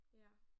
Ja